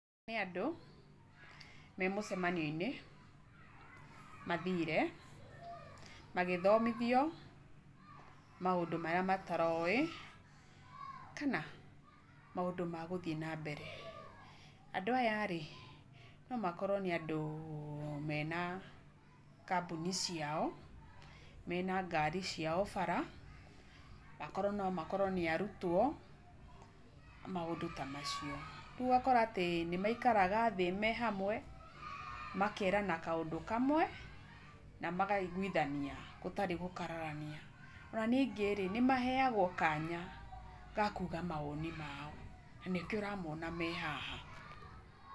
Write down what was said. Nĩ andũ, memũcemanio-inĩ, mathire, magĩthomithio maũndũ marĩa mataroĩ, kana, maũndũ magũthiĩ nambere. Andũ aya nomakorwo nĩ andũ mena kambuni ciao, mena ngari ciao bara, akorwo nomakorwo nĩ arutwo, maũndũ tamacio. Rĩu ũgakora riu rĩmwe nĩmaikara thĩ mehamwe, makerana kaũndũ kamwe, na makaiguithania, gũtarĩ gũkararania. Ona ningĩ nĩmaheyagwo kanya gakuga mawoni mao, na nĩkĩo ũramona mehaha.